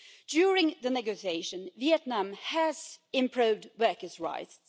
During the negotiation, Vietnam has improved workers' rights